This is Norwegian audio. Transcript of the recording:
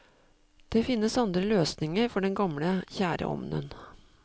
Det finnes andre løsninger for den gamle, kjære ovnen.